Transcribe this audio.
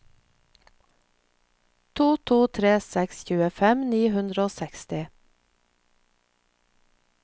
to to tre seks tjuefem ni hundre og seksti